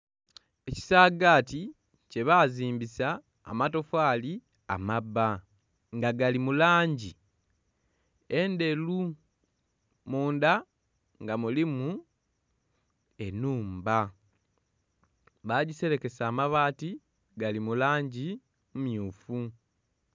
Ekisaagati kyebazimbisa amatofaali amabba nga gali mu langi endheru, munda nga mulimu ennhumba bagiserekesa amabati gali mu langi mmyufu.